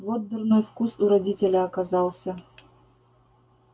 вот дурной вкус у родителя оказался